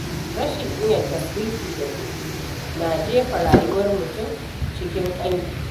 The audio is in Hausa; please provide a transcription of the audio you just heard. Rashin iya tasrifi da kuɗi na jefa rayuwar mutum cikin ƙangi.